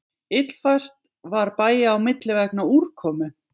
Illfært var bæja á milli vegna úrkomu